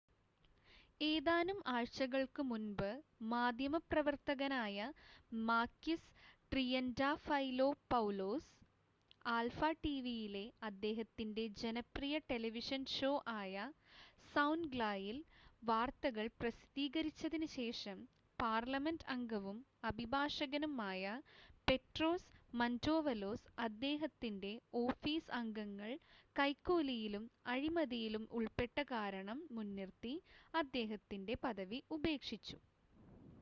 "ഏതാനും ആഴ്ചകൾക്ക് മുൻപ് മാധ്യമപ്രവർത്തകനായ മാകിസ് ട്രിയന്റാഫൈലോപൗലോസ് ആൽഫ ടിവിയിലെ അദ്ദേഹത്തിന്റെ ജനപ്രിയ ടെലിവിഷൻ ഷോ ആയ "സൗൻഗ്ല" യിൽ വാർത്തകൾ പ്രസിദ്ധീകരിച്ചതിന് ശേഷം പാർലമെന്റ് അംഗവും അഭിഭാഷകനും ആയ പെട്രോസ് മന്റോവലോസ് അദ്ദേഹത്തിന്റെ ഓഫീസ് അംഗങ്ങൾ കൈക്കൂലിയിലും അഴിമതിയിലും ഉൾപ്പെട്ട കാരണം മുൻനിർത്തി അദ്ദേഹത്തിന്റെ പദവി ഉപേക്ഷിച്ചു.